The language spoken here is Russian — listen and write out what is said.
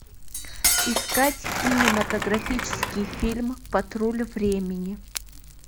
искать кинематографический фильм патруль времени